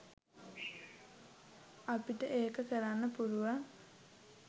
අපිට ඒක කරන්න පුළුවන්.